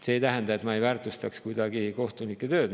See ei tähenda, et ma ei väärtustaks kuidagi kohtunike tööd.